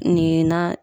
Nin ye na